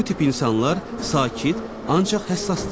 Bu tip insanlar sakit, ancaq həssasdırlar.